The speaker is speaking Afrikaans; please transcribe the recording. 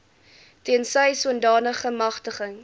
tensy sodanige magtiging